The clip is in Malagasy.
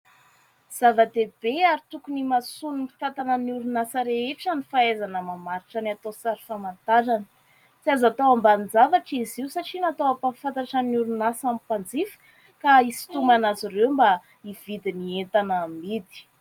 Zava-dehibe ary tokony himasoan'ny mpitantana ny orinasa rehetra, ny fahaizana mamaritra ny atao sary famantarana, tsy azo atao ambanin- javatra izy io satria natao hampafantatra ny orinasa amin'ny mpanjifa; ka hisitonana azy ireo mba hividy ny entana amidy.